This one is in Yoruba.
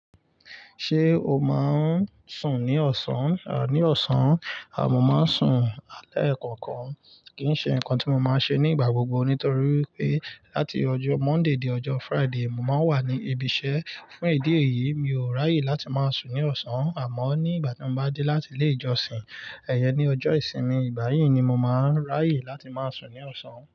Ṣé o máa ń sùn ní ọ̀sán? Ní ọ̀sán, mo máa ń sùn lẹ́kọ̀ọ̀kan. Kì í ṣe ǹkan tí mo máa ṣe ní ìgbà gbogbo nítorí pé láti ọjọ́ Monday dé ọjọ́ Friday, mo máa wà ní ibi iṣẹ́. Fún ìdí èyí, mi ò ráyè láti máa sùn ní ọ̀sán àmọ́ ní ìgbà tí mo bá dé láti ilé ìjọsìn, iyẹn ni ọjọ́ ìsinmi, ìgbà yìí ni mo máa ń ráyè láti máa sùn ní ọ̀sán.